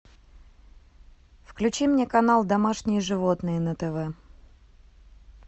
включи мне канал домашние животные на тв